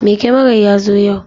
Mai kyamarar ya zo yau.